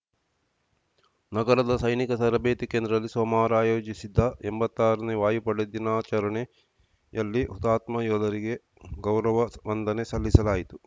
ನಗರದ ಸೈನಿಕ ತರಬೇತಿ ಕೇಂದ್ರದಲ್ಲಿ ಸೋಮವಾರ ಆಯೋಜಿಸಿದ್ದ ಎಂಬತ್ತರನೇ ವಾಯುಪಡೆ ದಿನಾಚರಣೆಯಲ್ಲಿ ಹುತಾತ್ಮ ಯೋಧರಿಗೆ ಗೌರವ ವಂದನೆ ಸಲ್ಲಿಸಲಾಯಿತು